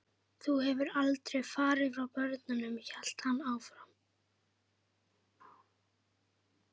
Þú hefðir aldrei farið frá börnunum, hélt hann áfram.